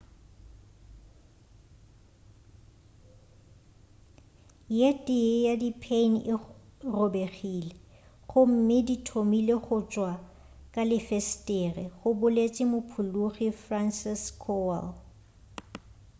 ye tee ya di pheini e robegile gomme di thomile go tšwa ka lefesetere go boletše mophologi franciszek kowal